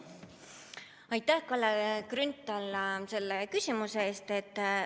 Aitäh, Kalle Grünthal, selle küsimuse eest!